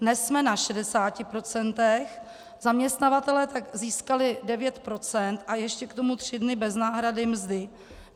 Dnes jsme na 60 %, zaměstnavatelé tak získali 9 % a ještě k tomu tři dny bez náhrady mzdy.